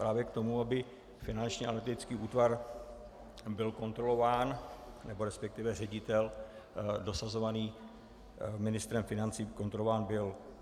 Právě k tomu, aby Finanční analytický útvar byl kontrolován, nebo respektive ředitel dosazovaný ministrem financí kontrolován byl.